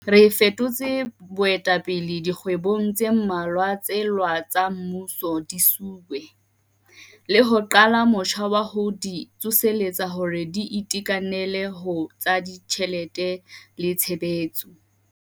Re fetotse boetapele dikgwebong tse mmalwa tsa lewa tsa mmuso, di-SOE, le ho qala motjha wa ho di tsoseletsa hore di itekanele ho tsa ditjhelete le tshebetso.